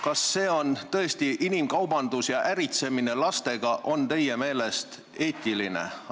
Kas inimkaubandus ja äritsemine on teie meelest tõesti eetiline?